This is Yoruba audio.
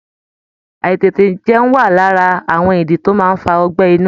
Àítètèjẹun wà lára àwọn ìdí tó máa ń fa ọgbẹ́ inú